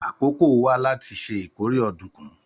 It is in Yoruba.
Àkókò wà láti ṣe ìkórè ọ̀dùnkún